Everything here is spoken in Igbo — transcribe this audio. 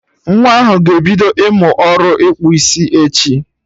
Nwa ahụ ga ebido ịmụ ọrụ ịkpụ isi, echi